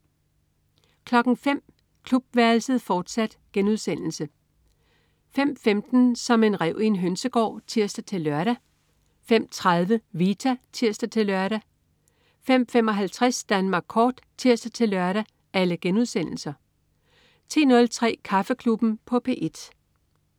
05.00 Klubværelset, fortsat* 05.15 Som en ræv i en hønsegård* (tirs-lør) 05.30 Vita* (tirs-lør) 05.55 Danmark kort* (tirs-lør) 10.03 Kaffeklubben på P1